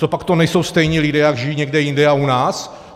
Cožpak to nejsou stejní lidé, jací žijí někde jinde a u nás?